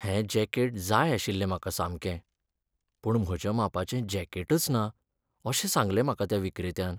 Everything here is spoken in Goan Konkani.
हें जॅकेट जाय आशिल्लें म्हाका सामकें पूण म्हज्या मापाचें जॅकेटच ना अशें सांगलें म्हाका त्या विक्रेत्यान.